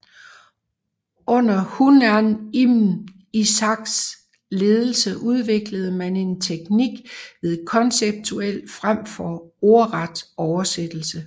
Under Hunayn ibn Ishaqs ledelse udviklede man en teknik med konceptuel fremfor ordret oversættelse